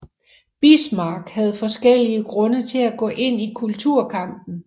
Bismarck havde forskellige grunde til at gå ind i kulturkampen